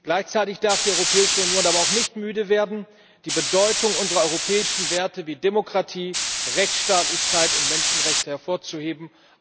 Gleichzeitig darf die Europäische Union aber auch nicht müde werden, die Bedeutung unserer europäischen Werte wie Demokratie, Rechtsstaatlichkeit und Menschenrechte hervorzuheben.